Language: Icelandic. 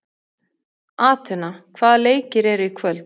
Atena, hvaða leikir eru í kvöld?